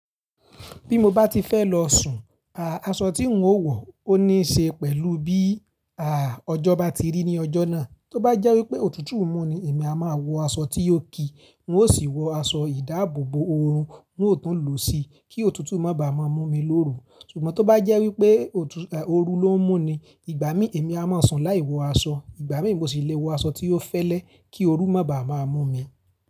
Bí mo bá ti fẹ́ lọ sùn, aṣọ tí n ó wọ ọ ní ṣe pẹ̀lú bí àà ọjọ́ bá ti rí ní ọjọ́ náà. Tó bá jẹ́ wípé òtútù mú ni èmi a máa wọ aṣọ tí yóò kí n ó sì wọ aṣọ ìdáàbòbò oorun n ó tún lòó si kí òtútù má ba à má mú mi lóru. Ṣùgbọ́n tó bá jẹ́ wípé òrù ló ń mú ni, ìgbà mí èmi a máa sùn láì wọ aṣọ, ìgbà mí mo sì lè wọ aṣọ tí ó fẹ́lẹ́ kí òrù má ba à má mú mi.